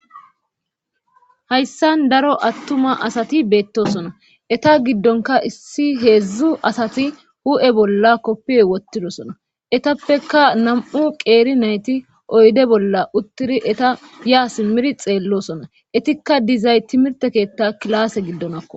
hayssan daro attuma asati beettosona eta giddonka issi heedzdzu asati hu7e bolla koppiya wottidosona etappeka nam7u qeeri nayti oyde bolla uttidi eta ya simir xeellosona etikka dizay timirte keetta kilaase giddonakko